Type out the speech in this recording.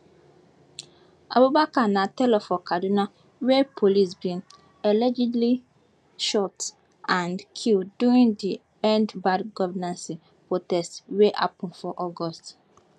abubakar na tailor for kaduna wey police bin allegedly shoot and kll during di end bad governance protest wey happun for august